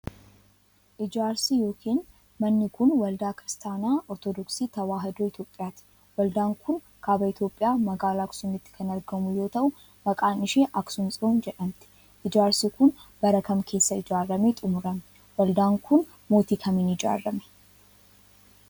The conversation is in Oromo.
Ijaarsi yokin manni kun, waldaa Kiristaana Ortodooksii Tawaahidoo Itoophiyaati. Waldaan kun, kaaba Itoophiyaa magaalaa Aksuumitti kan argamu yoo ta'u, maqaan ishe Aksuum Tsiyoon jedhamti. Ijaarsi kun, bara kam keessa ijaaramee xumurame? Waldaan kun mootii kamiin ijaarame?